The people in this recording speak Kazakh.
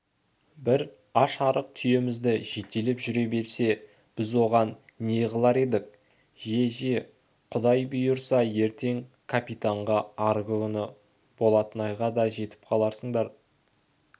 бір аш-арық түйемізді жетелеп жүре берсе біз оған не қылар едік же же құдай бұйырса ертең капитанға арғы күні болатнайға да жетіп қаларсыңдар